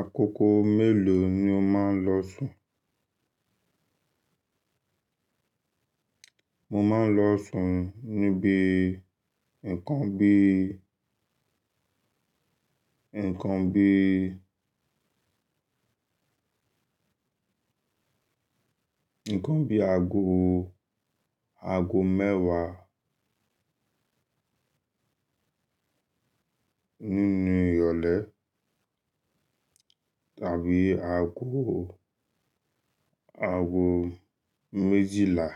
Àkókò mélòó ni o máa ń lọ sùn? Mo máa ń lọ sùn níbi nǹkan bí, nǹkan bí, nǹkan bí aago, aago mẹ́wàá nínú ìrọ̀lẹ́ tàbí aago, aago méjìlá.